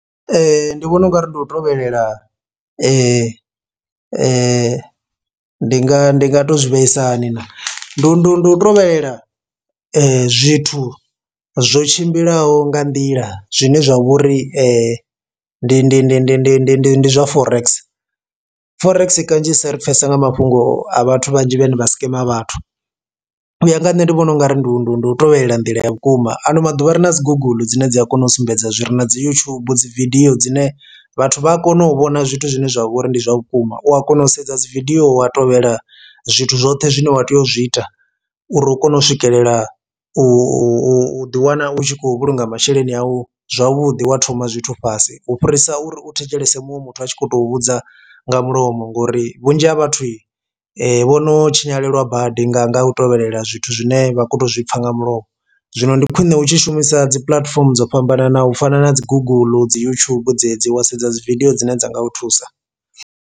Ndi vhona ungari ndi u tovhelela ndi ndi ndi nga ndi nga to zwi vhaisa hani na ndu ndu ndu tovhelela zwithu zwo tshimbilaho nga nḓila zwine zwa vhori ndi ndi ndi ndi ndi ndi ndi ndi zwa forex. Forex kanzhisa ri pfhesesa nga mafhungo a vhathu vhanzhi vhane vha skema vhathu u ya nga ha nṋe ndi vhona ungari ndu ndu ndu u tovhelela nḓila ya vhukuma ano maḓuvha ri na dzi guguḽu dzine dzi a kona u sumbedza zwire na dzi YouTube dzi vidio dzine vhathu vha a kona u vhona zwithu zwine zwavha uri ndi zwa vhukuma, u a kona u sedza dzi vidio wa tovhela zwithu zwoṱhe zwine wa tea u zwi ita uri u kone u swikelela u u u ḓi wana u tshi khou vhulunga masheleni awu zwavhuḓi wa thoma zwithu fhasi. U fhirisa uri u thetshelese muṅwe muthu a tshi khou tou vhudza nga mulomo ngori vhunzhi ha vhathu vhono tshinyalelwa badi nga nga u tovhelela zwithu zwine vha kho to zwi pfha nga mulomo. Zwino ndi khwine u tshi shumisa dzi puḽatifomo dzo fhambananaho u fana na dzi guguḽu, dzi YouTube dzedzi wa sedza dzi vidio dzine dza nga u thusa.